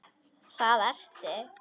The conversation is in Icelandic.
Það ertu.